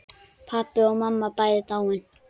Pabbi og mamma bæði dáin.